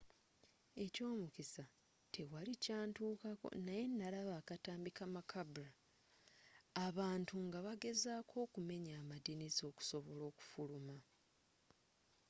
ekyomukisa tewali kyantukako naye nalaba akatambi ka macabre abantu nga bagezaako okumenya amadirisa okusobola okufuluma.